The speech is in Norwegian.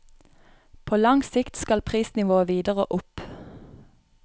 På lang sikt skal prisnivået videre opp.